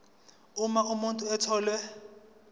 uma umuntu etholwe